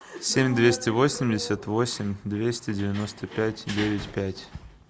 семь двести восемьдесят восемь двести девяносто пять девять пять